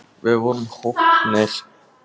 Við vorum hólpnir!